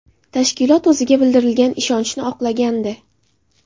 Tashkilot o‘ziga bildirilgan ishonchi oqlagandi.